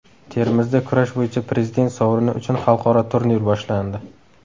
Termizda kurash bo‘yicha Prezident sovrini uchun xalqaro turnir boshlandi.